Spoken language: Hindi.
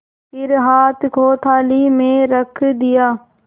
फिर हाथ को थाली में रख दिया